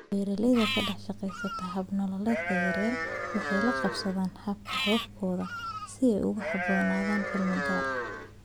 Beeralayda ka dhex shaqeeya hab-nololeedyada yaryar waxay la qabsadaan hababkooda si ay ugu habboonaadaan cimilo gaar ah.